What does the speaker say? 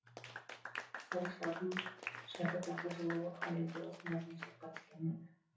тарихшылардың шәкіртақы жууы халелге осындай қиыншылыққа түскен еді